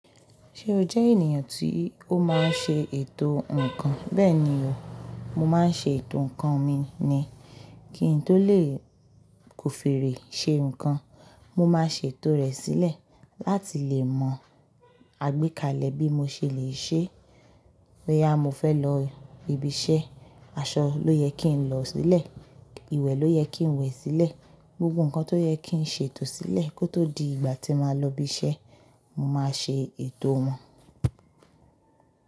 Ṣé o jẹ́ ènìyàn tí ó máa ń ṣe ètò ǹkan? Bẹ́ẹ̀ni o, mo máa ń ṣe ètò ǹkan mi ni. Ki n tó lè kofire ṣe ǹkan, mo máa sè tò rẹ̀ sílẹ̀. Láti lè mọ àgbékalẹ̀ bí mo ṣe lè ṣe. Boya mo fẹ́ lọ ibiṣẹ́, aṣọ ló yẹ kí n lọ sílẹ̀, ìwẹ̀ ló yẹ kí n wẹ̀ sílẹ̀. Gbogbo ǹkan tó yẹ kí n sè tò sílẹ̀ kó tó di ìgbà tí máa lọ ibiṣẹ́, mo máa ṣe ètò wọn.